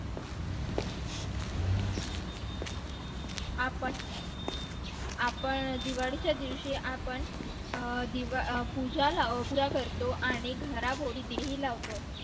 आपण आपण दिवाळीच्या दिवशी आपण अं पूजा करतो आणि घरामध्ये दिवे लावतो